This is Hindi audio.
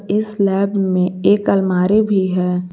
इस लैब में एक अलमारी भी है।